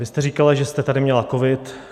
Vy jste říkala, že jste tady měla covid.